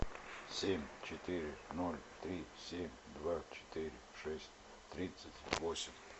семь четыре ноль три семь два четыре шесть тридцать восемь